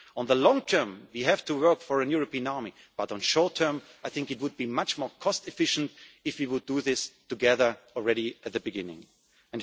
In the long term, we have to work for a European army, but in the short term I think it would be much more cost efficient if we could do this together from the